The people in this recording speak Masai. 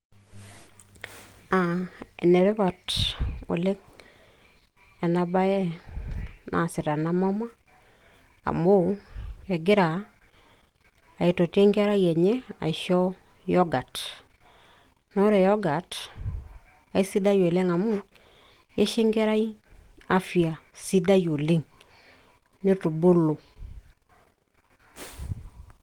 aa enetipat oleng ena bae, naasita ena mama, amu egira aitoti enkerai enye, aisho yoghurt naa ore yoghurt aisidai oleng amu eisho enkerai afia sidai oleng neitubulu.